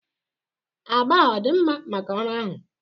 Agba a ọ dị mma maka ọrụ ahụ?